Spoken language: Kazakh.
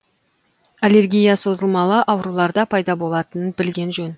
аллергия созылмалы ауруларда пайда болатынын білген жөн